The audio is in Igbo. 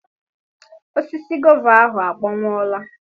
Osisi gova ahụ akpọnwụọla.